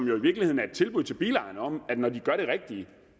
jo i virkeligheden et tilbud til bilejerne om at når de gør det rigtige